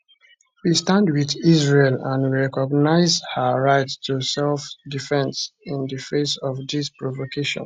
we stand wit israel and we recognise her right to selfdefence in di face of dis provocation